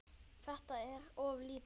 Þetta er of lítið.